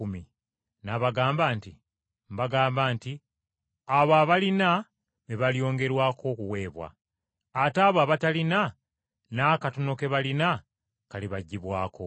“N’abaddamu nti, ‘Mbagamba nti oyo yenna alina, alyongerwako; ate oyo atalina, n’akatono k’alina kalimuggibwako.